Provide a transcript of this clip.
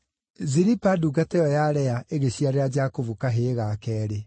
Zilipa ndungata ĩyo ya Lea ĩgĩciarĩra Jakubu kahĩĩ ga keerĩ.